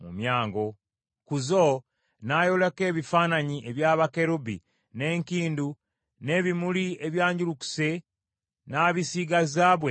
Ku zo n’ayolako ebifaananyi ebya bakerubi, n’enkindu n’ebimuli ebyanjulukuse, n’abisiiga zaabu ensanuuse.